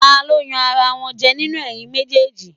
Ta ló yan ara wọn jẹ nínú ẹ̀yin méjèèjì?